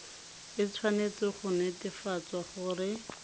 e tshwanetse go netefatsa gore